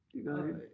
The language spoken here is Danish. Det gør de